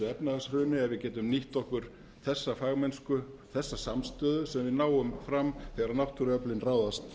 efnahagshruni að við getum nýtt okkur þessa fagmennsku þessa samstöðu sem við náum fram þegar náttúruöflin ráðast